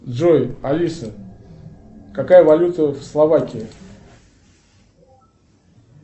джой алиса какая валюта в словакии